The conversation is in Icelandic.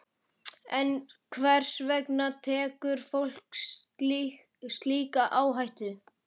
En hvers vegna tekur fólk slíka áhættu?